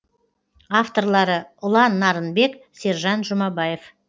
авторлары ұлан нарынбек сержан жұмабаев